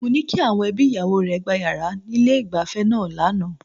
Mo ní kí àwọn ẹbí ìyàwó rẹ̀ gba yàrá ní ilé-ìgbafẹ́ náà lánàá.